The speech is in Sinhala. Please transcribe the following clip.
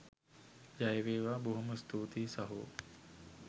ජය වේවා! බොහොම ස්තුතියි සහෝ